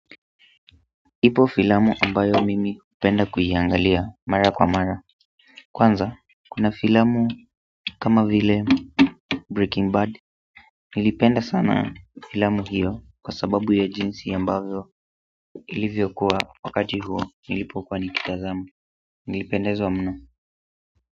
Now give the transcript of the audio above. Ipo filamu ambayo mimi hupenda kuiangalia mara kwa mara kwanza, kuna filamu kama vile Breaking Bad. Nilipenda sana filamu hiyo kwa sababu ya jinsi ambavyo ilivyokuwa wakati huo nilipokuwa nikitazama nlipendezwa mno.